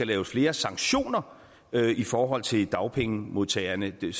laves flere sanktioner i forhold til dagpengemodtagerne det